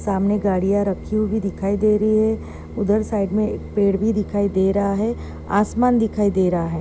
सामने गाड़िया रखी हुई दिखाई दे रही है उधर साइड मे एक पेड़ भी दिखाई दे रहा है आसमान दिखाई दे रहा ह.